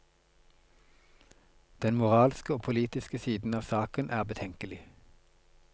Den moralske og politiske siden av saken er betenkelig.